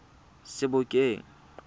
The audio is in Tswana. sebokeng